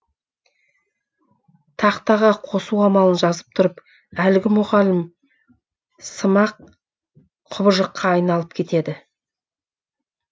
тақтаға қосу амалын жазып тұрып әлгі мұғалім сымақ құбыжыққа айналып кетеді